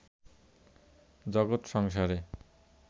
জগৎ-সংসারের